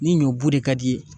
Ni ɲɔ bu de ka d'i ye